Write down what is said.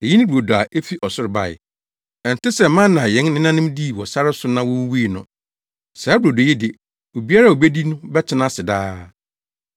Eyi ne brodo a efi ɔsoro bae. Ɛnte sɛ mana a yɛn nenanom dii wɔ sare so na wowuwui no. Saa brodo yi de, obiara a obedi bi no bɛtena ase daa.”